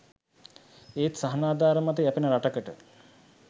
ඒත් සහනාධාර මත යැපෙන රටකට